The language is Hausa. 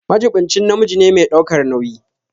Majiɓinci namiji ne mai ɗaukar nauyi.